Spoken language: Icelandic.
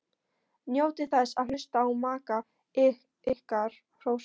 Njótið þess að hlusta á maka ykkar hrósa ykkur.